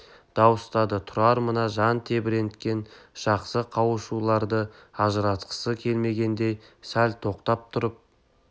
дауыстады тұрар мына жан тебіренткен жақсы қауышушыларды ажыратқысы келмегендей сәл тоқтап тұрып